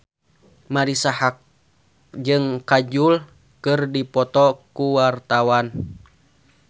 Marisa Haque jeung Kajol keur dipoto ku wartawan